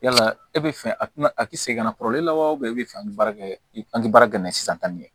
Yala e bɛ fɛ a tɛna a tɛ segin ka na la wa e bɛ fɛ an bɛ baara kɛ an tɛ baara kɛ n'a ye sisan